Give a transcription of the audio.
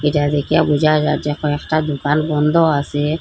এটা দেখিয়া বুঝা যায় যে এখন একটা দুকান বন্ধ আসে।